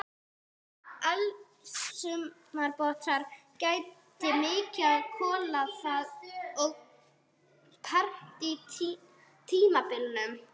Eldsumbrota gætti mikið á kola- og perm-tímabilunum.